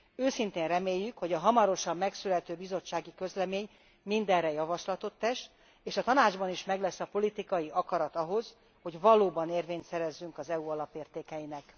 Őszintén reméljük, hogy a hamarosan megszülető bizottsági közlemény minderre javaslatot tesz, és a Tanácsban is meglesz a politikai akarat ahhoz, hogy valóban érvényt szerezzünk az EU alapértékeinek.